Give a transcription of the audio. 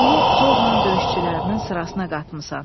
Onu zorla döyüşçülərinin sırasına qatmısan.